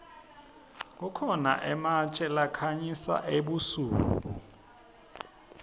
kukhona ematje lakhanyisa ebusuku